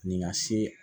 Nin ka se